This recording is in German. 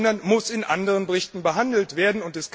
Sie muss in anderen Berichten behandelt werden.